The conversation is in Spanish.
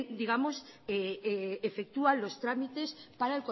digamos efectúa los trámites para